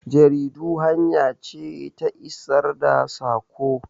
Jaridu hanya ce ta isar da sako.